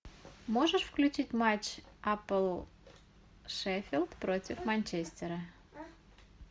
можешь включить матч апл шеффилд против манчестера